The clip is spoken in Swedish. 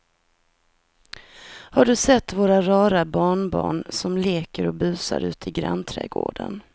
Har du sett våra rara barnbarn som leker och busar ute i grannträdgården!